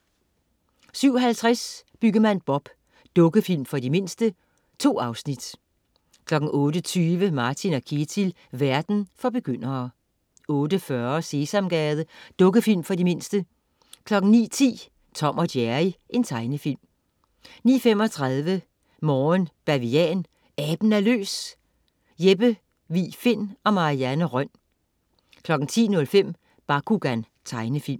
07.50 Byggemand Bob. Dukkefilm for de mindste. 2 afsnit 08.20 Martin & Ketil. Verden for begyndere 08.40 Sesamgade. Dukkefilm for de mindste 09.10 Tom & Jerry. Tegnefilm 09.35 Morgen Bavian. Aben er løs! Jeppe Vig Find og Marie Rønn 10.05 Bakugan. Tegnefilm